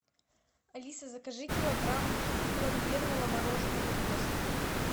алиса закажи килограмм пломбирного мороженого гост